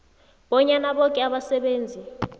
bonyana boke abasebenzi